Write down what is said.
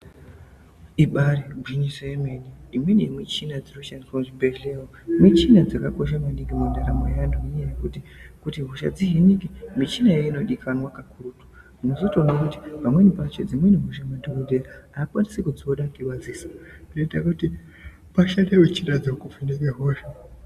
Ibari gwinyiso yemene ,imweni muchina dziri kushandisa muzvibhehleya umu michina dzakakosha maningi mundaramo yevanhu ngenyaya yekuti kuti hosha dzihinike michina iyoyo ino todikanwa kakurutu unozotoona kuti pamweni pacho dzimwe hosha madhokodhera hakwanisi kudziona ngemadziso zvinoita kuti pashande muchina dzeku vheneka hosha.